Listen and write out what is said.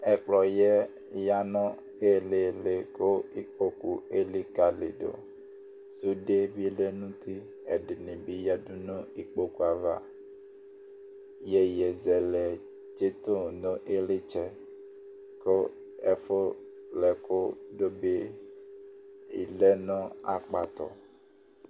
Ɛkplɔ ƴɛ ƴa nʊ ɩlɩlɩ kɩkpokʊ elɩkalɩdʊ Sʊde bɩ lɛ nʊtɩ, ɛdɩnɩ bɩ aƴadʊ nʊ ɩkpokʊ ayava Ɩƴowɩzɛlɛ tsɩtʊ nɩylɩtsɛ kʊ ɛfʊ lɛ ɛkʊ bɩ lɛ nʊ akpatʊ